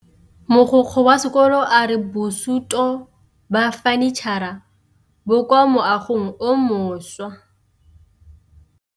Mogokgo wa sekolo a re bosutô ba fanitšhara bo kwa moagong o mošwa.